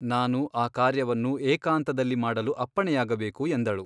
ನಾನು ಆ ಕಾರ್ಯವನ್ನು ಏಕಾಂತದಲ್ಲಿ ಮಾಡಲು ಅಪ್ಪಣೆಯಾಗಬೇಕು ಎಂದಳು.